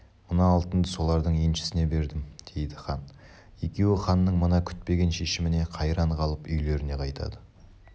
мына алтынды солардың еншісіне бердім дейді хан екеуі ханның мына күтпеген шешіміне қайран қалып үйлеріне қайтады